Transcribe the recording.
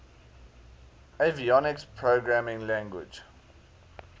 avionics programming language